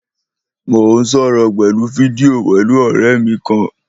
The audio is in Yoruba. Mò ń sọ̀rọ̀ pẹ̀lú fídíò pẹ̀lú ọ̀rẹ́ mí kan.